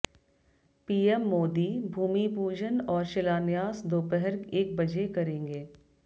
PM Modi भूमिपूजन और शिलान्यास दोपहर एक बजे करेंगे